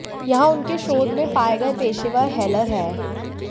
यहां उनके शोध में पाए गए पेशेवर हेलर हैं